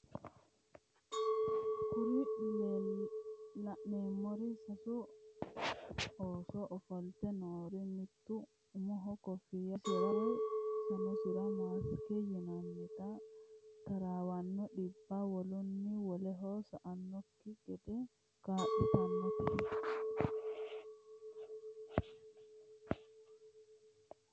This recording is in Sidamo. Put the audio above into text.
Kuri la'neemori sasu ooso ofolte noori mittu umoho koffiyya wodhe afiisira woye sanosira makisete yinayiita taraawanno dhibbi wolunni woleho sa"anokki gede kaa'litanete